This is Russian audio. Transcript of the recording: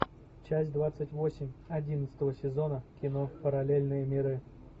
часть двадцать восемь одиннадцатого сезона кино параллельные миры